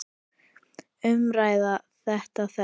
Umræða um þetta er þekkt.